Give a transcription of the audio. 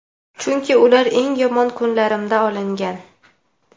Chunki ular eng yomon kunlarimda olingan.